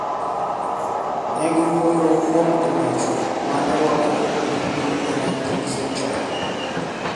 Ne giwuoyo kuom timbe chwo ma ne rwako ogudu e 19 century.